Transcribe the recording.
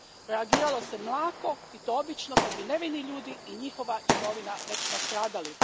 Reagiralo se mlako i to obično kad bi nevini ljudi i njihova imovina već nastradali.